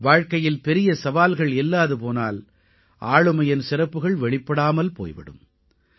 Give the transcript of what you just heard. வாழ்க்கையில் பெரிய சவால்கள் இல்லாது போனால் ஆளுமையின் சிறப்புகள் வெளிப்படாமல் போய் விடும்